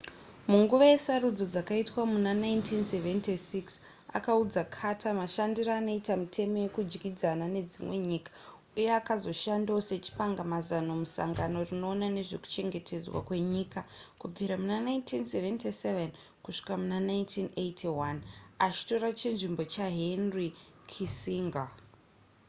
munguva yesarudzo dzakaitwa muna 1976 akaudza carter mashandiro anoita mitemo yekudyidzana nedzimwe nyika uye akazoshandawo sachipangamazano musangano rinoona nezvekuchengetedzwa kwenyika kubvira muna 1977 kusvika muna 1981 achitora chinzvimbo chahenry kissinger